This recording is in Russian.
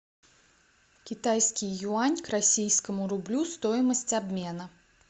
китайский юань к российскому рублю стоимость обмена